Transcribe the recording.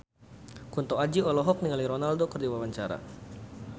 Kunto Aji olohok ningali Ronaldo keur diwawancara